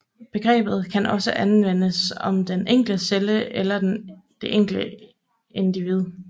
Begrebet kan også anvendes om den enkelte celle eller det enkelte individ